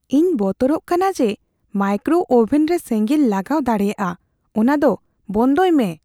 ᱤᱧ ᱵᱚᱛᱚᱨᱚᱜ ᱠᱟᱱᱟ ᱡᱮ ᱢᱟᱭᱠᱨᱳ ᱳᱵᱷᱮᱱ ᱨᱮ ᱥᱮᱸᱜᱮᱞ ᱞᱟᱜᱟᱣ ᱫᱟᱲᱮᱭᱟᱜᱼᱟ ᱾ ᱚᱱᱟ ᱫᱚ ᱵᱚᱱᱫᱚᱭ ᱢᱮ ᱾